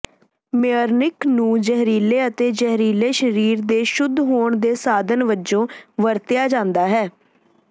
ਮੇਅਨੀਕ ਨੂੰ ਜ਼ਹਿਰੀਲੇ ਅਤੇ ਜ਼ਹਿਰੀਲੇ ਸਰੀਰ ਦੇ ਸ਼ੁੱਧ ਹੋਣ ਦੇ ਸਾਧਨ ਵਜੋਂ ਵਰਤਿਆ ਜਾਂਦਾ ਹੈ